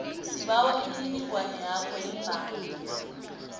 sibawa imininingwanakho yebhanga